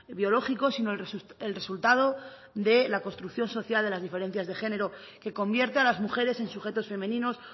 biológico sino el resultado de la construcción social de las diferencias de género que convierte a las mujeres en sujetos femeninos